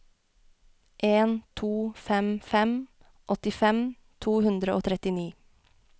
en to fem fem åttifem to hundre og trettini